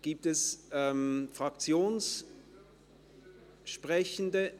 Gibt es Fraktionssprechende?